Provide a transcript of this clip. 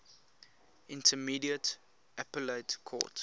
intermediate appellate court